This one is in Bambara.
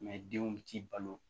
denw bɛ t'i balo